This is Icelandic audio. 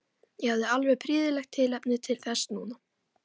Ég hafði alveg prýðilegt tilefni til þess núna.